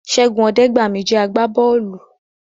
Ṣẹ́gun Ọdẹgbami jẹ́ àgbà bọ́ọ̀lù